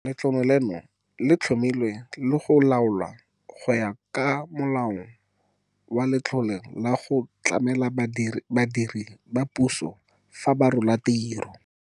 Letlole leno le tlhomilwe le go laolwa go ya ka Molao wa Letlole la go Tlamela Badiredi ba Puso fa ba Rola Tiro.